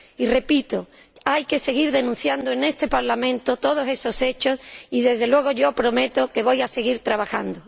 Y, repito, hay que seguir denunciando en este Parlamento todos esos hechos y, desde luego, yo prometo que voy a seguir trabajando.